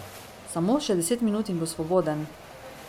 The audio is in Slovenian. Samo še deset minut in bo svoboden.